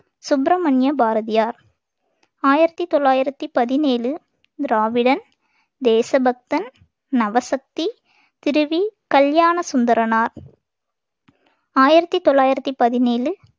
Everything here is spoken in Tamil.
சுப்பிரமணிய பாரதியார் ஆயிரத்தி தொள்ளாயிரத்தி பதினேழு திராவிடன் தேசபக்தன் நவசக்தி திரு வி கல்யாண சுந்தரனார் ஆயிரத்தி தொள்ளாயிரத்தி பதினேழு